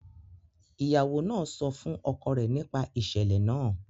Ìyàwó náà sọ fún ọkọ rẹ nípa ìṣẹ̀lẹ̀ náà